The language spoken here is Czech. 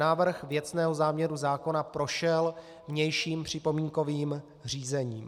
Návrh věcného záměru zákona prošel vnějším připomínkovým řízením.